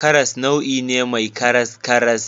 Karas nau'i ne mai karaskaras.